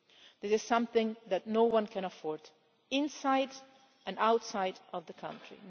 This is something that no one can afford either inside or outside of the country.